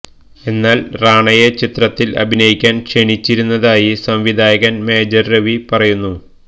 എന്നാല് റാണയെ ചിത്രത്തില് അഭിനയിക്കാന് ക്ഷണിച്ചിരുന്നതായി സംവിധായകന് മേജര് രവി പറയുന്നു